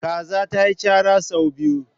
Kaza ta yi chara sau biyu.